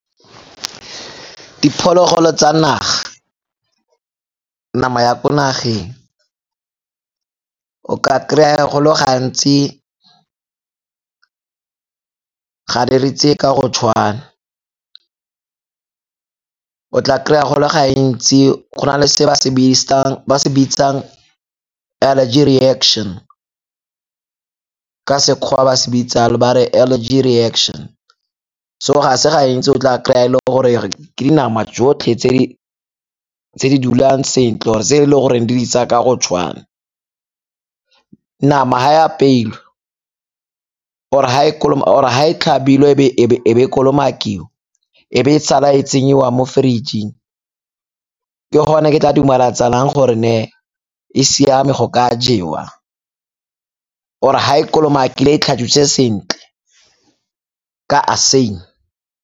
Diphologolo tsa naga, nama ya ko nageng. O ka kry-a go le ya go le gantsi ga re ka go tshwana. O tla kry-a go le gantsi go na le se ba se bitsang allergy rection, ka Sekgowa ba se bitsa ba re allergy reaction, so ga se gantsi o tla kry-a le go gore ke nama jotlhe tse di dulang sentle or-e tse e le goreng di di tsaya ka go tshwana. Nama ga e apeilwe or-e ha e tlhabilwe e be e kolomakiwa e be e sala e tsenyiwa mo fridge-eng ke gone ke tla dumelatsanang gore ne e siame go ka jewa or-e ha e kolomakile e tlhatswitse sentle ka .